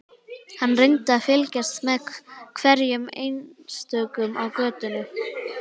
Hann reyndi að fylgjast með hverjum einstökum á götunni.